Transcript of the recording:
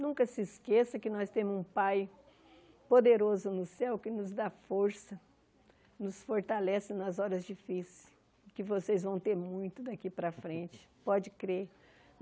Nunca se esqueça que nós temos um Pai poderoso no céu que nos dá força, nos fortalece nas horas difíceis, que vocês vão ter muito daqui para frente, pode crer.